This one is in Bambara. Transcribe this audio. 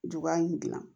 Juguya in dilan